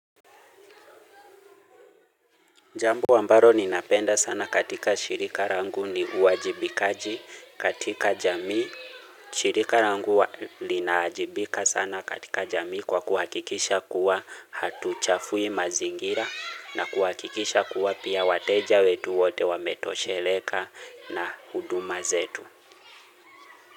Jambo ambaro ninapenda sana katika shirika rangu ni uajibikaji katika jamii. Shirika rangu linaajibika sana katika jamii kwa kuhakikisha kuwa hatuchafui mazingira na kuhakikisha kuwa pia wateja wetu wote wametosheleka na huduma zetu.